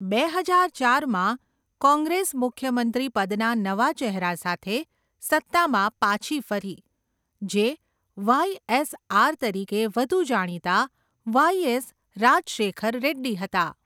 બે હજાર ચારમાં કોંગ્રેસ મુખ્યમંત્રી પદના નવા ચહેરા સાથે સત્તામાં પાછી ફરી, જે વાય.એસ.આર તરીકે વધુ જાણીતા વાય .એસ. રાજશેખર રેડ્ડી હતા